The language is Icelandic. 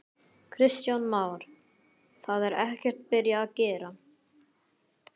Kristján Már: Það er ekkert byrjað að gera?